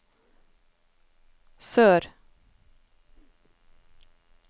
sør